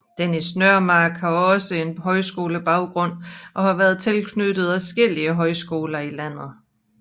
Dennis Nørmark har også en højskolebaggrund og har været tilknyttet adskillige folkehøjskoler i landet